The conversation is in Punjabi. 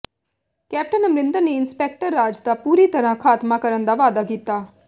ਕੈਪਟਨ ਅਮਰਿੰਦਰ ਨੇ ਇੰਸਪੈਕਟਰ ਰਾਜ ਦਾ ਪੂਰੀ ਤਰ੍ਹਾਂ ਖਾਤਮਾ ਕਰਨ ਦਾ ਵਾਅਦਾ ਕੀਤਾ